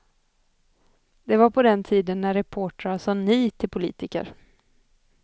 Det var på den tiden när reportrar sa ni till politiker.